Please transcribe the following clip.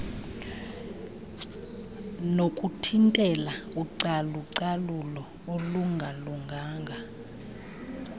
nokuthintela ucalucalulo olungalunganga